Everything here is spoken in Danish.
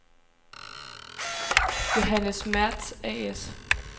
Johannes Mertz A/S